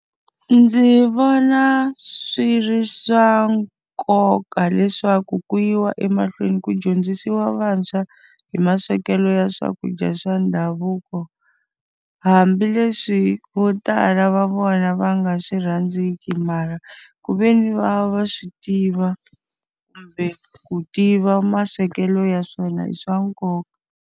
Ndzi vona swi ri swa nkoka leswaku ku yiwa emahlweni ku dyondzisiwa vantshwa hi maswekelo ya swakudya swa ndhavuko. Hambileswi vo tala va vona va nga swi rhandziki mara, ku ve ni va va swi tiva kumbe ku tiva maswekelo ya swona i swa nkoka.